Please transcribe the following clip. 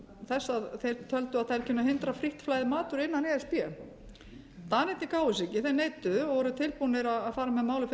þess að þeir töldu að þær kynnu að hindra frítt flæði matvöru innan e s b danirnir gáfu sig þeir neituðu og voru tilbúnir að fara með